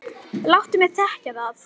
Láttu mig þekkja það!